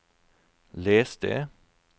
les det